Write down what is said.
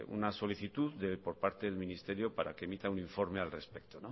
una solicitud por parte del ministerio para que emita un informe al respecto